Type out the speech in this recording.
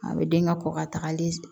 A bɛ den ka kɔkɔ tagali